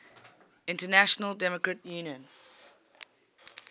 international democrat union